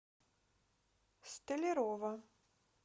столярова